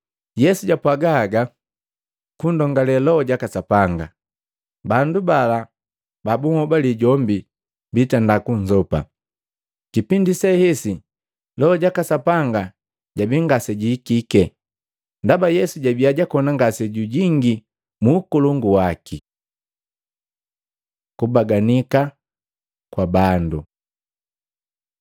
Yesu japwaaga haga kundongule Loho jaka Sapanga, bandu bala ba bunhobali jombi bitenda kunzopa. Kipindi se hesi Loho jaka Sapanga jabii ngasejihikike, ndaba Yesu jabiya jakoni ngasejujingi muukolongu waki. Kubaganika kwa bando